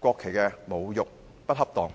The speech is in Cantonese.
國旗的侮辱，是不恰當的。